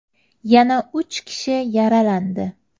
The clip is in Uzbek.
Yana uch kishi yaralandi.